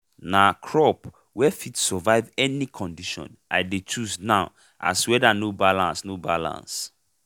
na crop wey fit survive any condition i dey chose now as weather no balance no balance